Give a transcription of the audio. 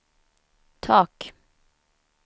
tak